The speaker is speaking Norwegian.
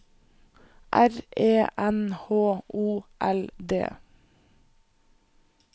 R E N H O L D